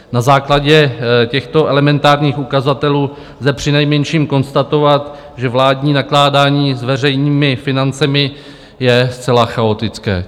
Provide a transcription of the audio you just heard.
Na základě těchto elementárních ukazatelů lze přinejmenším konstatovat, že vládní nakládání s veřejnými financemi je zcela chaotické.